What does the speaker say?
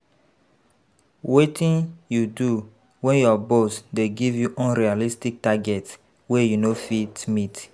Wetin you do when your boss dey give you unrealistic targets wey you no fit meet?